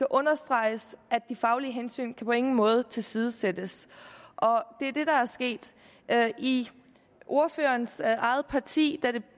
understreges at de faglige hensyn på ingen måde kan tilsidesættes det er det der er sket i ordførerens eget parti var